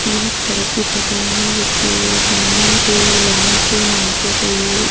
यह एक सड़क की फोटो है जिसके सामने कोई लेमन ट्री नाम से कोई अ --